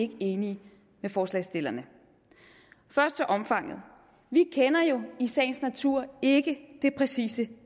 ikke enige med forslagsstillerne først til omfanget vi kender jo i sagens natur ikke det præcise